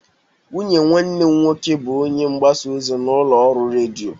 Nwunye nwanne m nwoke bụ onye mgbasa ozi n'ụlọ ọrụ redio.